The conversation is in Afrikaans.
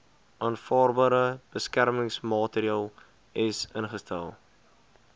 aanvaarbare beskermingsmaatreels ingestel